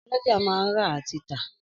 Ọ́lọjá máa ń rà àti tà